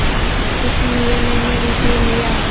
इसलिए मैंने इसे लिया